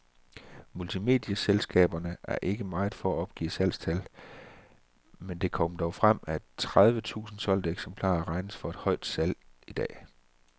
Multimedieselskaberne er ikke meget for at opgive salgstal, men det kom dog frem, at tredive tusind solgte eksemplarer regnes for et højt salg i dag.